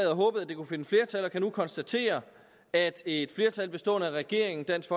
og håbet at det kunne finde flertal og vi kan nu konstatere at et flertal bestående af regeringen dansk